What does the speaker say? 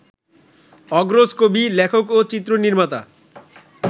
অগ্রজ কবি, লেখক ও চিত্রনির্মাতা